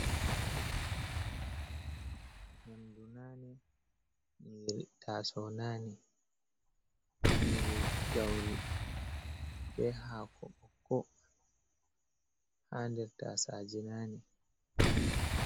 Nƴamɗu nane. Nyiri tasou nane. Nyiri gauri be hako bokko. Ha ɗer tasaje nane.